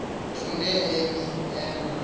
efude emi ema